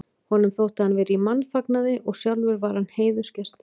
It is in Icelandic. Honum þótti hann vera í mannfagnaði og sjálfur var hann heiðursgesturinn.